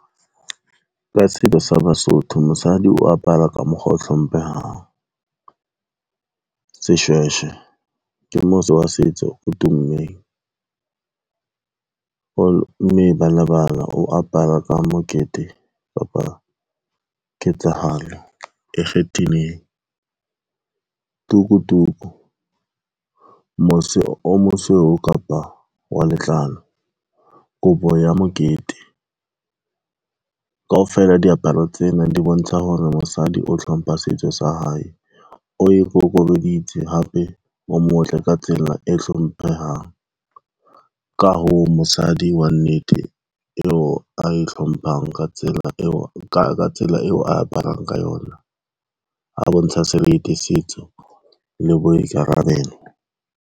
Ka selo sa Basotho mosadi o apara ka mokgwa o hlomphehang. Seshweshwe ke mose wa setso o tummeng, mme ba lebala o apara ka mokete kapa ketsahalo e kgethileng. Tuku tuku, mose o mosweu kapa wa letlalo, kobo ya mokete, kaofela diaparo tsena di bontsha hore mosadi o hlompha setso sa hae, o ikokobeditse hape o motle ka tsela e hlompehang. Ka hoo, mosadi wa nnete eo a e hlomphang ka tsela eo aparang ka yona, a bontsha seriti, setso le boikarabelo.